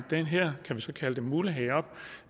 den her mulighed